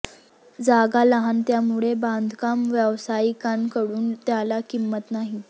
जागा लहान त्यामुळे बांधकाम व्यावसायिकांकडून त्याला किंमत नाही